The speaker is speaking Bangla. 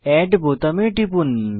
এড বোতামে টিপুন